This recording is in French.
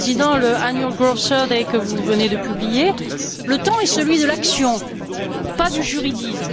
le Président, l' Annual Growth Survey que vous venez de publier, le temps est celui de l'action, pas du juridisme.